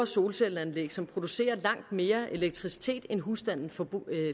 solcelleanlæg som producerer langt mere elektricitet end husstanden forbruger